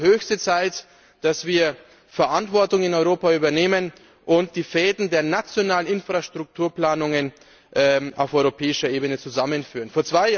Es ist also höchste Zeit, dass wir in Europa Verantwortung übernehmen und die Fäden der nationalen Infrastrukturplanungen auf europäischer Ebene zusammenführen.